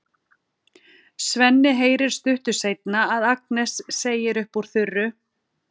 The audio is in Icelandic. Svenni heyrir stuttu seinna að Agnes segir upp úr þurru